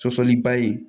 Sɔsɔliba ye